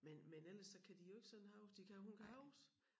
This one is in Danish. Men men ellers så kan de jo ikke sådan huske de kan hun kan huske